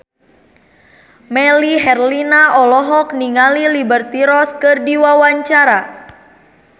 Melly Herlina olohok ningali Liberty Ross keur diwawancara